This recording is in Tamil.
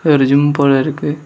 ஒரு ஜிம் போல இருக்கு.